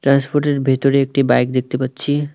ফুটের ভিতরে একটি বাইক দেখতে পাচ্ছি।